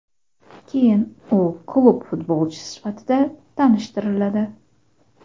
Keyin u klub futbolchisi sifatida tanishtiriladi.